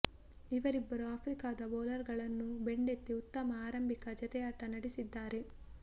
ಇವರಿಬ್ಬರು ಆಫ್ರಿಕಾದ ಬೌಲರ್ ಗಳನ್ನು ಬೆಂಡೆತ್ತಿ ಉತ್ತಮ ಆರಂಭಿಕ ಜತೆಯಾಟ ನಡೆಸಿದ್ದಾರೆ